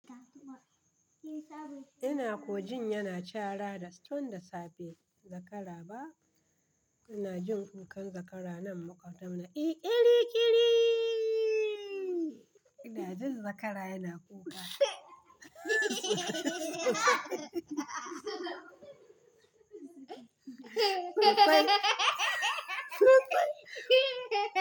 Ina ko jin yana cara da tun da safe zakara ba. Ina jin kukan zakara nan maƙobtanmu. Kiri kiri. Ina jin zakara yana kuka.